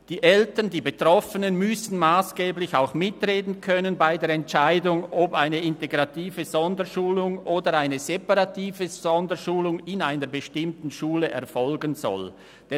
Die Eltern, die Betroffenen müssen bei der Entscheidung, ob eine integrative Sonderschulung oder eine separative Sonderschulung in einer bestimmten Schule erfolgen soll, massgeblich mitreden können.